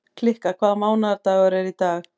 Kikka, hvaða mánaðardagur er í dag?